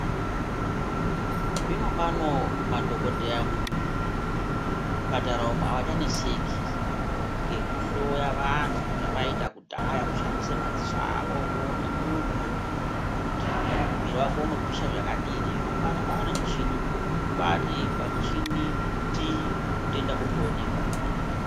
Zvinopawo madhokodheya muzvipatara umwo avachaneseki ngekuhloya vantu zvavaita kudhara kushandisa madziso awo voona muntu Kuti mwirir wake unopisa zvakadini zvino pano pavane michini kubati pamuchini ndii hutenda hotoonekwa.